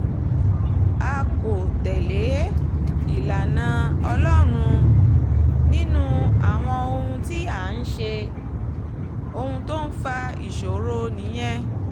a kò tẹ̀lé ìlànà ọlọ́run nínú àwọn ohun tí à ń ṣe ohun tó ń fa ìṣòro nìyẹn